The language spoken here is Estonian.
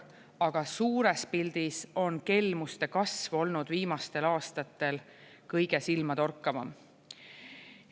Aga suures pildis on kelmuste kasv olnud viimastel aastatel kõige silmatorkavam.